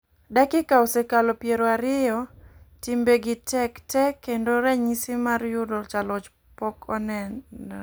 Dakika osekalo piero ariyo ,timbe gi tek tee kendo ranyisi mar yudo jaloch pok onere.